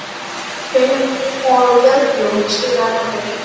Vitanlega sigraði stórveldið með fjórtán stiga yfirburðum.